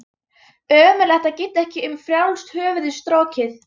Ömurlegt að geta ekki um frjálst höfuð strokið.